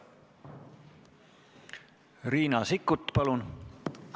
Riina Sikkut, palun!